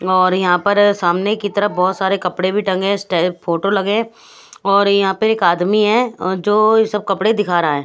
और यहाँ पर सामने की तरफ बहुत सारे कपड़े भी टंगे फोटो लगे हैं और यहाँ पर एक आदमी है जो ये सब कपड़े दिखा रहा है।